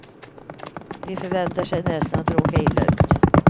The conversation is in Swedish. De förväntar sig nästan att råka illa ut.